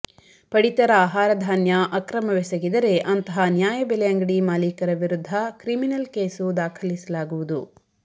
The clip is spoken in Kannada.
ಪಡಿತರ ಆಹಾರಧಾನ್ಯ ಅಕ್ರಮವೆಸಗಿದರೆ ಅಂತಹ ನ್ಯಾಯ ಬೆಲೆ ಅಂಗಡಿ ಮಾಲೀಕರ ವಿರುದ್ಧ ಕ್ರಿಮಿನಲ್ ಕೇಸು ದಾಖಲಿಸಲಾಗುವುದು